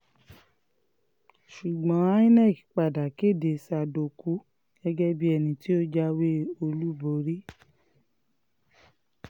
ṣùgbọ́n inec padà kéde sádókù gẹ́gẹ́ bíi ẹni tó jáwé olúborí